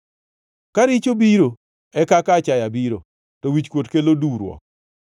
Ka richo biro, e kaka achaya biro, to wichkuot kelo duwruok.